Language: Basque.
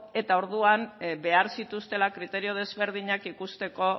eta orduan behar zituztela kriterio desberdinak ikusteko